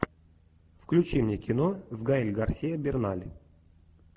включи мне кино с гаэль гарсиа берналь